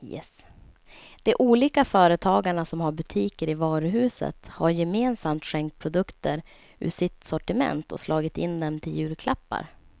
De olika företagarna som har butiker i varuhuset har gemensamt skänkt produkter ur sitt sortiment och slagit in dem till julklappar.